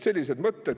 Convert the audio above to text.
Sellised mõtted.